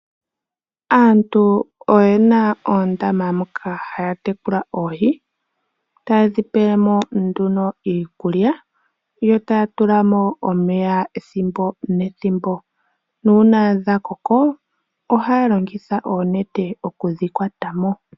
Aantu oyena oondama moka haya tekula oohi, tayedhi pelemo nduno iikulya, yo taya tula mo omeya ethimbo nethimbo. Nuuna dha koko ohaya longitha oonete okudhi kwata mo.